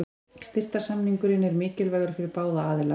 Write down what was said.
Styrktarsamningurinn er mikilvægur fyrir báða aðila.